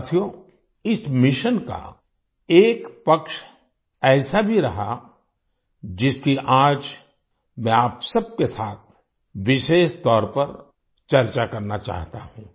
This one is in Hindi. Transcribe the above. साथियो इस मिशन का एक पक्ष ऐसा भी रहा जिसकी आज मैं आप सब के साथ विशेष तौर पर चर्चा करना चाहता हूं